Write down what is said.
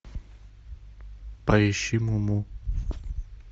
поищи муму